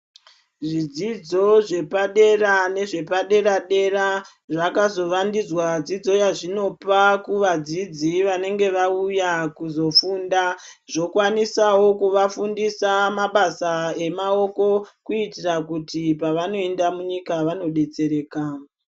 Zvidzidzo zvepa dera nezve padera dera zvakazovandudzwa dzidzo yazvinopa kuvadzidzi vanenge vauya kuzofunda zvokwanisawo kuvafundisa mabasa emaoko kuitira kuti pavanoenda munyika vanodetsereka.